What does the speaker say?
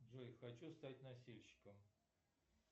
джой хочу стать носильщиком